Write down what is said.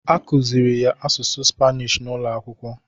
A kụzịrị ya asụsụ spanish n'ụlọakwụkwọ